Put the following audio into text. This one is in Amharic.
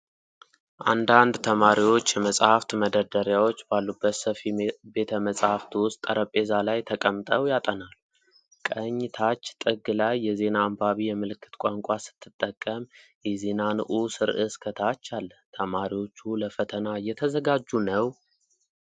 አንዳንድ ተማሪዎች የመጻሕፍት መደርደሪያዎች ባሉበት ሰፊ ቤተ-መጽሐፍት ውስጥ ጠረጴዛ ላይ ተቀምጠው ያጠናሉ። ቀኝ ታች ጥግ ላይ የዜና አንባቢ የምልክት ቋንቋ ስትጠቀም፣ የዜና ንዑስ ርዕስ ከታች አለ። ተማሪዎቹ ለፈተና እየተዘጋጁ ነው?